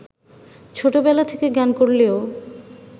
ছোটবেলা থেকে গান করলেও